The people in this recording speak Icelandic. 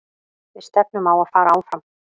Við stefnum á að fara áfram.